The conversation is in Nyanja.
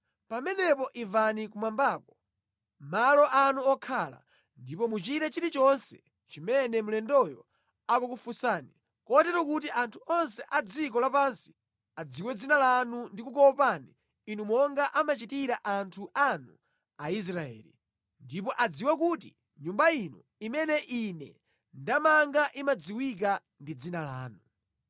pamenepo imvani kumwambako, malo anu okhalamo, ndipo muchite zonse zimene mlendoyo akukupemphani, kotero kuti anthu onse a dziko lapansi adziwe dzina lanu ndi kukuopani monga amachitira anthu anu Aisraeli, ndipo adziwe kuti nyumba ino imene ndakumangirani imadziwika ndi dzina lanu.